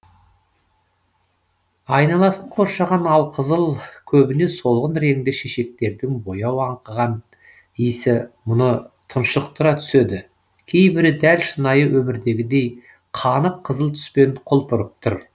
айналасын қоршаған алқызыл көбіне солғын реңді шешектердің бояу аңқыған иісі мұны тұншықтыра түседі кейбірі дәл шынайы өмірдегідей қанық қызыл түспен құлпырып тұр